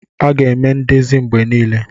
A ga-eme ndezi mgbe niile.